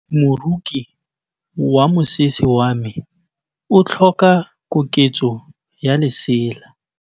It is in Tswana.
Moroki wa mosese wa me o tlhoka koketsô ya lesela.